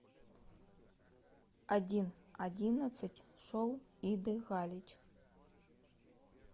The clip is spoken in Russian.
один одиннадцать шоу иды галич